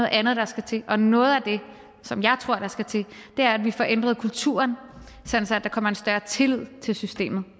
andet der skal til og noget af det som jeg tror der skal til er at vi får ændret kulturen sådan at der kommer en større tillid til systemet